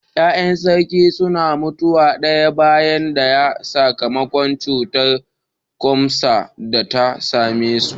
Ya’yan sarki suna mutuwa daya bayan daya sakamakon cutar kwatsam da ta same su.